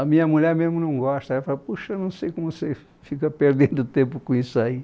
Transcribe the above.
A minha mulher mesmo não gosta, ela fala, poxa, não sei como você fica perdendo tempo com isso aí.